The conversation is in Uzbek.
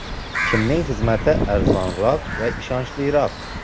Kimning xizmati arzonroq va ishonchliroq?